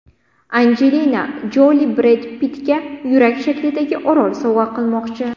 Anjelina Joli Bred Pittga yurak shaklidagi orol sovg‘a qilmoqchi.